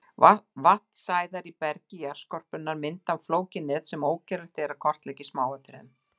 Vatnsæðar í bergi jarðskorpunnar mynda flókið net sem ógerlegt er að kortleggja í smáatriðum.